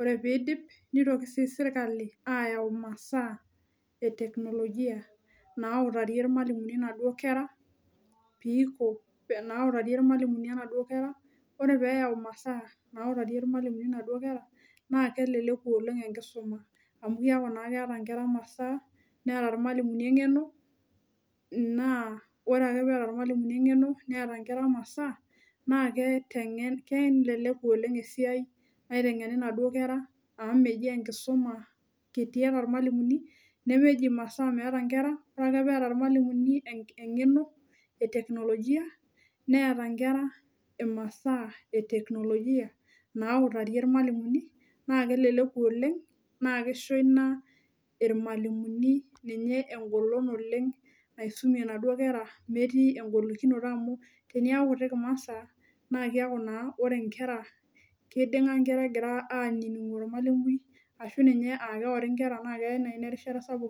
ore piidip nepuoi aiteng'en ore pidipi ore piidip nitoki sii sirkali ayau imasaa e teknolojia nautarie irmalimuni inaduo kera piiko nautarie irmalimuni inaduo naa keleleku oleng enkisuma amu kiaku naa keeta inkera imasaa neeta irmalimuni eng'eno naa ore ake peeta irmalimuni eng'eno neeta inkera imasaa naake teng'en keeny keleleku oleng esiai naiteng'eni inaduo kera amu meji enkisuma kiti eeta irmalimuni nemeji imasaa meeta inkera ore ake peeta irmalimuni enk eng'eno e teknolojia neeta inkera imasaa e teknolojia nautarie irmalimuni naa keleleku oleng naa kisho ina irmalimuni ninye engolon oleng naisumie inaduo kera metii engolikinoto amu teneeku kutik imasaa naa kiaku naa ore inkera kiding'a inkera egira anining'u ormalimui ashu ninye akeori inkera naa keya naai ina erishata sapuk.